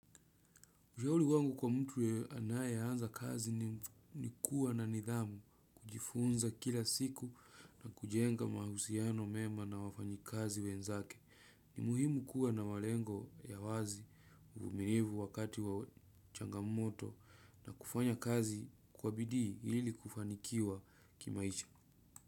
Ushauei wangu kwa mtu anayeanza kazi ni kuwa na nidhamu, kujifunza kila siku na kujenga mahusiano mema na wafanyikazi wenzake. Ni muhimu kuwa na malengo ya wazi uvumilivu wakati wa changamoto na kufanya kazi kwa bidii ili kufanikiwa kimaisha.